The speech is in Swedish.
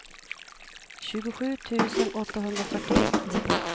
tjugosju tusen åttahundrafyrtioett